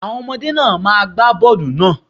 Àwọn ọmọdé náà má gba bọ́ọlù náà.